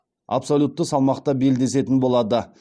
абсолютті салмақта белдесетін болады